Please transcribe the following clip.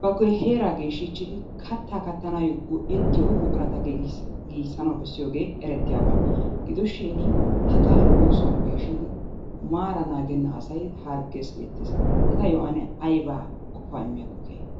ba heeraa geeshshichid, katta kaattanato go"ettiyo buqurata giigissanawu bessiiyoogee eretiyaaba. Gidoshin hagaa oosuwan peeshshidi maara naagenna asay harggees getees. Etayyo ane aybba qofaa immiyakko keehane?